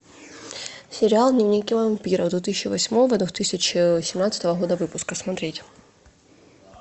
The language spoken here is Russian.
сериал дневники вампира две тысячи восьмого две тысячи семнадцатого года выпуска смотреть